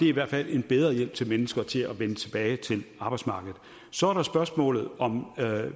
i hvert fald en bedre hjælp til mennesker til at vende tilbage til arbejdsmarkedet så er der spørgsmålet om